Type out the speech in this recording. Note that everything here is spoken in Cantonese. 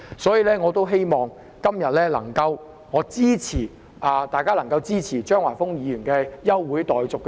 所以，我希望今天大家能夠支持張華峰議員的休會待續議案。